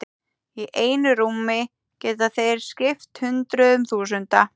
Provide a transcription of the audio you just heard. Í einu rúmi geta þeir skipt hundruðum þúsunda.